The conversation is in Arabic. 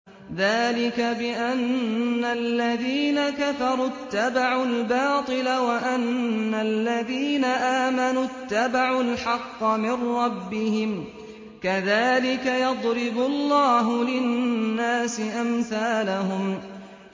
ذَٰلِكَ بِأَنَّ الَّذِينَ كَفَرُوا اتَّبَعُوا الْبَاطِلَ وَأَنَّ الَّذِينَ آمَنُوا اتَّبَعُوا الْحَقَّ مِن رَّبِّهِمْ ۚ كَذَٰلِكَ يَضْرِبُ اللَّهُ لِلنَّاسِ أَمْثَالَهُمْ